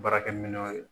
Baarakɛminɛnw ye